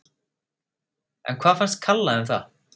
En hvað fannst Kalla um það?